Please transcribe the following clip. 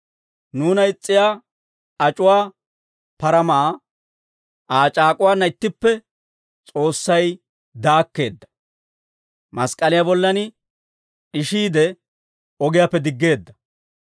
Nuuna is's'iyaa, ac'uwaa paramaa Aa c'aak'uwaanna ittippe S'oossay daakkeedda; mask'k'aliyaa bollan d'ishiide, ogiyaappe diggeedda.